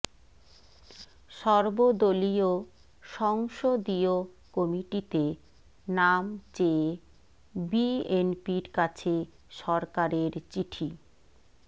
সর্বদলীয় সংসদীয় কমিটিতে নাম চেয়ে বিএনপির কাছে সরকারের চিঠি